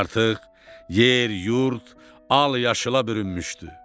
Artıq yer, yurd al-yaşıla bürünmüşdü.